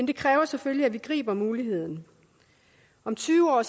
det kræver selvfølgelig at vi griber muligheden om tyve år